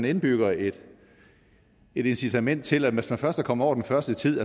indbygger et incitament til at hvis man først er kommet over den første tid